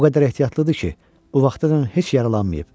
O qədər ehtiyatlıdır ki, bu vaxtadək heç yaralanmayıb.